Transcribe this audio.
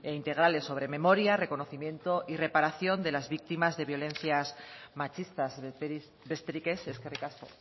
integrales sobre memoria reconocimiento y reparación de las víctimas de violencias machistas besterik ez eskerrik asko